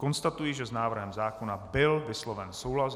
Konstatuji, že s návrhem zákona byl vysloven souhlas.